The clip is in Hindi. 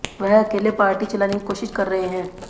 वह अकेले पार्टी चलाने की कोशिश कर रहे हैं